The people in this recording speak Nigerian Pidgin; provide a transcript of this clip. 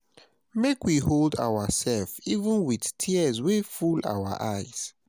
Make we hold ourselves even wit tears wey full our eyes.